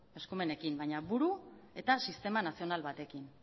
eskumenekin baina buru eta sistema nazional batekin